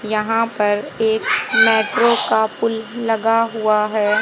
यहां पर एक मेट्रो का पुल लगा हुआ है।